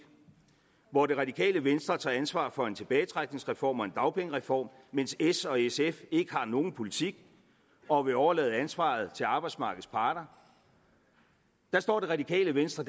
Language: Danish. hvor det radikale venstre tager ansvaret for en tilbagetrækningsreform og en dagpengereform mens s og sf ikke har nogen politik og vil overlade ansvaret til arbejdsmarkedets parter der står det radikale venstre